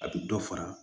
A bɛ dɔ fara